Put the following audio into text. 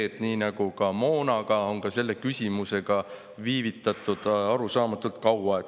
Sest nii nagu moonaga on ka selle küsimusega viivitatud arusaamatult kaua.